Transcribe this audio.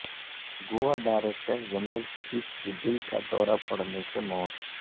گو ا director general police کی دل کا دورہ پڑنے سے موت